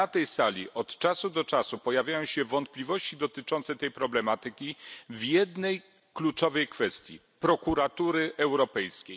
Na tej sali od czasu do czasu pojawiają się wątpliwości dotyczące tej problematyki w jednej kluczowej kwestii Prokuratury Europejskiej.